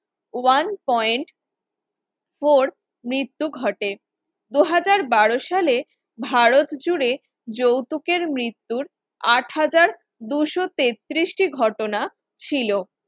one point four মৃত্যু ঘটে, দু হাজার বার সালে ভারতজুড়ে যৌতুকের মৃত্যুর আট হাজার দুইশ তেত্রিশ টি ঘটনা ছিল